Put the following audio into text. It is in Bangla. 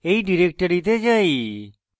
এই ডিরেক্টরিতে যাই